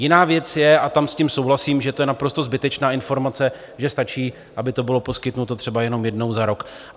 Jiná věc je, a tam s tím souhlasím, že je to naprosto zbytečná informace, že stačí, aby to bylo poskytnuto třeba jenom jednou za rok.